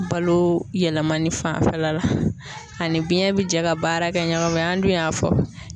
Balo yɛlɛmali fanfɛla la ani biɲɛn bi jɛ ka baara kɛ ɲɔgɔn fɛ an dun y'a fɔ